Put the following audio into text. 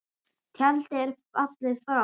Tjaldið er fallið og frá.